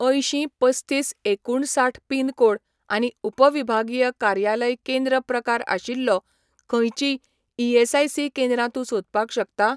अंयशीं पस्तीस एकुणसाठ पिन कोड आनी उपविभागीय कार्यालय केंद्र प्रकार आशिल्लेीं खंयचींय ईएसआयसी केंद्रां तूं सोदपाक शकता ?